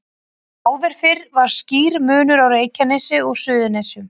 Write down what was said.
Áður fyrr var skýr munur á Reykjanesi og Suðurnesjum.